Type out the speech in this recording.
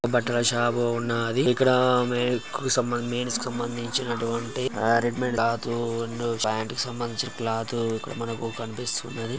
'' బట్టల షాపు ఉన్నది ఇక్కడ మెన్స్ కు సంబంధిం మెన్స్ కు సంబంధించి నటువంటి రెడ్ మేట్స్ క్లాత్ క్లాతులు ప్యాంటు కి సంబంధించిన క్లాతులు మనకు కనిపిస్తున్నది. ''